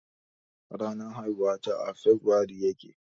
Ranar haihuwata a febirairu ya ke.